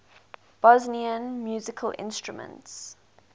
bosnian musical instruments